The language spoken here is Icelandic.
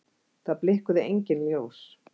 Það blikkuðu engin ljós.